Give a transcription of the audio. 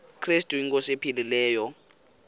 krestu inkosi ephilileyo